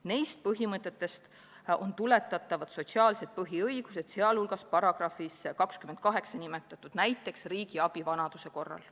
Nendest põhimõtetest on tuletatavad sotsiaalsed põhiõigused, sh §-s 28 nimetatud riigi abi vanaduse korral.